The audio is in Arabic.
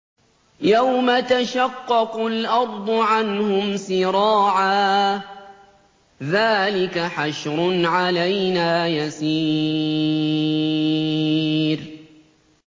يَوْمَ تَشَقَّقُ الْأَرْضُ عَنْهُمْ سِرَاعًا ۚ ذَٰلِكَ حَشْرٌ عَلَيْنَا يَسِيرٌ